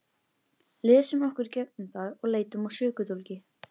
Lesum okkur í gegnum það og leitum að sökudólgi.